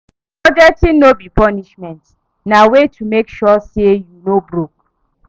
Budgeting no be punishment, na way to mek sure say yu no broke